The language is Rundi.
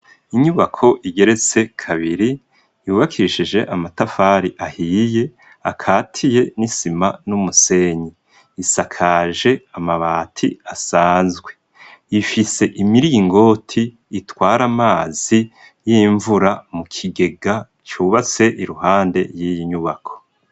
Inyubako igeretse kabiri yubakishije amatafari ahiye akatiye n'isima n'umusenyi. Isakaje amabati asanzwe, ifise imiringoti itwara amazi y'imvura mu kigega cubase iruhande y'iyi nyubako.